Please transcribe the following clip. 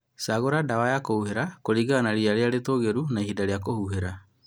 Shagũra dawa ya kũhuhĩra kũlingana na ria rĩrĩa itũgĩru na ihinda rĩa kũhuhĩra